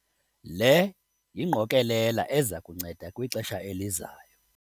Le yingqokelela eza kunceda kwixesha elizayo.